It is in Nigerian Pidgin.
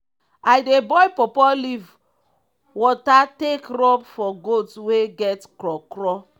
i dey boil pawpaw leaf water take rub for goat wey get kro kro.